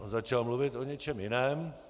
On začal mluvit o něčem jiném.